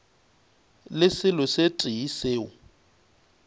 le selo se tee seo